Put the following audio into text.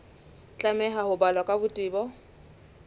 tlameha ho balwa ka botebo